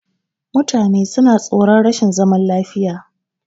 Mutane suna tsoron rashin zaman lafiya.